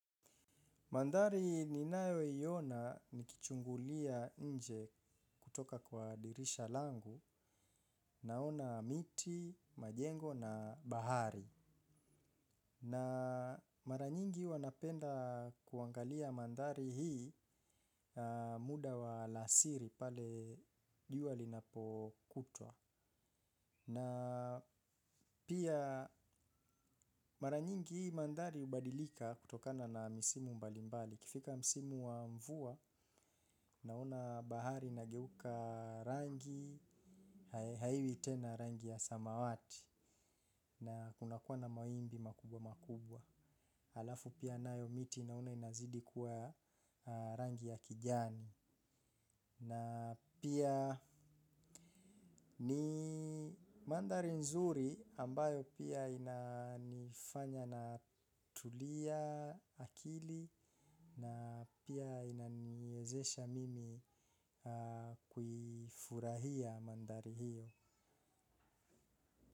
Madhari ninayo iona nikichungulia nje kutoka kwa dirisha langu naona miti, majengo na bahari. Na mara nyingi huwa napenda kuangalia mandhari hii muda wa alasiri pale jua linapokutwa. Na pia mara nyingi hii mandhari hubadilika kutokana na misimu mbalimbali. Ikifika msimu wa mvua, naona bahari inageuka rangi, haiwi tena rangi ya samawati na kuna kuwa na mawimbi makubwa makubwa. Alafu pia nayo miti naona inazidi kuwa rangi ya kijani. Na pia ni mandhari nzuri ambayo pia inafanya natulia akili na pia inaniwezesha mimi kufurahia mandhari hiyo.